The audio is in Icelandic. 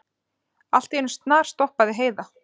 Allt í einu snarstoppaði Heiða.